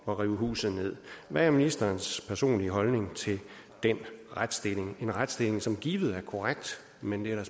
rive huset ned hvad er ministerens personlige holdning til den retsstilling det en retsstilling som givet er korrekt men det er